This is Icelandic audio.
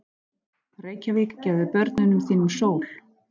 Reykjavík, gefðu börnum þínum sól!